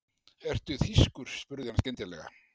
Ertu þýskur? spurði hann skyndilega.